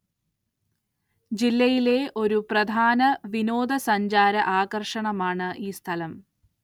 ജില്ലയിലെ ഒരു പ്രധാന വിനോദസഞ്ചാര ആകര്‍ഷണമാണ് ഈ സ്ഥലം